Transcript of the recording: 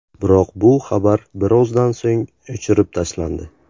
Biroq bu xabar birozdan so‘ng o‘chirib tashlandi.